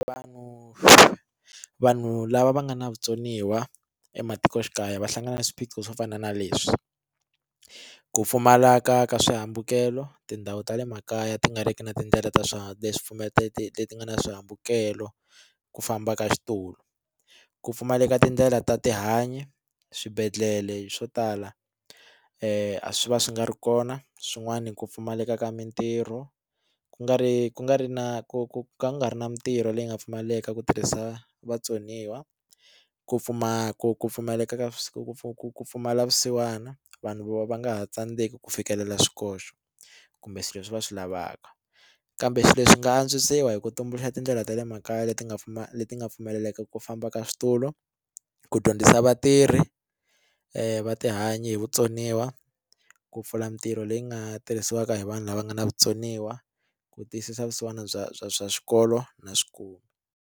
Vanhu vanhu lava va nga na vutsoniwa ematikoxikaya va hlangana na swiphiqo swo fana na leswi ku pfumaleka ka swihambukelo tindhawu ta le makaya ti nga riki na tindlela ta swa swi pfumeleli leti nga na swihambukelo ku famba ka xitulu, ku pfumaleka tindlela ta tihanyi swibedhlele swo tala swi va swi nga ri kona swin'wani ku pfumaleka ka mitirho ku nga ri ku nga ri na ku ku ku nga ri na mitirho leyi nga pfumaleka ku tirhisa vatsoniwa ku pfumala ka ku pfumaleka ka ku ku ku pfumala vusiwana vanhu vo va nga ha tsandzeki ku fikelela swikoxo kumbe swilo swi va swi lavaka kambe swilo leswi swi nga antswisiwa hi ku tumbuluxa tindlela ta le makaya leti nga pfumala leti nga pfumeleleka ku famba ka switulu ku dyondzisa vatirhi va tihanyi hi vutsoniwa ku pfula mitirho leyi nga tirhisiwaka hi vanhu lava nga na vutsoniwa ku tiyisisa vusiwana bya bya bya swikolo na .